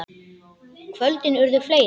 Kvöldin urðu fleiri.